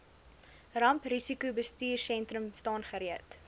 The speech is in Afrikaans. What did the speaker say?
ramprisikobestuursentrum staan gereed